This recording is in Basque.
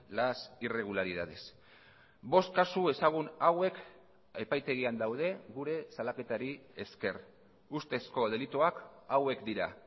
las irregularidades bost kasu ezagun hauek epaitegian daude gure salaketari esker ustezko delituak hauek dira